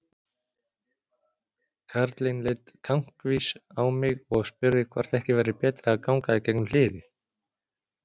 Karlinn leit kankvís á mig og spurði hvort ekki væri betra að ganga gegnum hliðið.